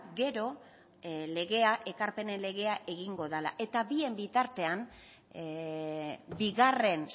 gero ekarpenen legea egingo dela eta bien bitartean bigarren